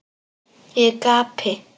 Ég gapi.